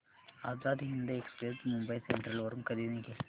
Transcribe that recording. Azad Hind express Mumbai central वरून कधी निघेल